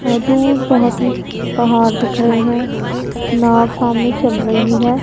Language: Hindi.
और दूर बहोत ही पहाड़ दिख रहे हैं नाव सामने चल रही है।